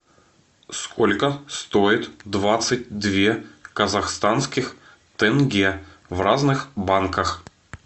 сколько стоит двадцать две казахстанских тенге в разных банках